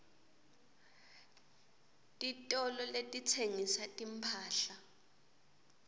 titolo letitsengisa timphahla